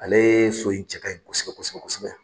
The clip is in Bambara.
Ale ye so in cɛ ka ɲi kosɛbɛ kosɛbɛ kosɛbɛ.